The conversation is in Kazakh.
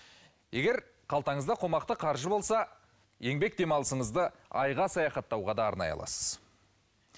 егер қалтаңызда қомақты қаржы болса еңбек демалысыңызды айға саяхаттауға да арнай аласыз